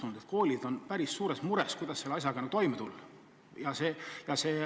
Tundub, et koolid on päris suures mures, kuidas selle asjaga toime tulla.